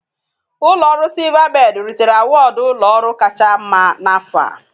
Ụlọ ọrụ Silvabedị ritere awọdụ ụlọ ọrụ kacha mma n'afọ.